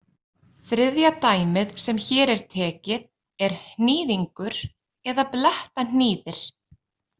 Þriðja dæmið sem hér er tekið er hnýðingur eða blettahnýðir.